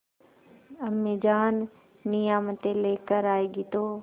अम्मीजान नियामतें लेकर आएँगी तो